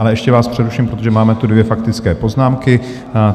Ale ještě vás přeruším, protože máme tu dvě faktické poznámky.